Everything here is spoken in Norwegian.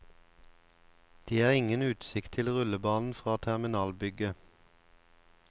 Det er ingen utsikt til rullebanen fra terminalbygget.